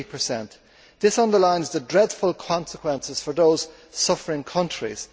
80. This underlines the dreadful consequences for those suffering countries.